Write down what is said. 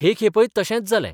हे खेपेय तशेंच जालें.